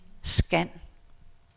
scan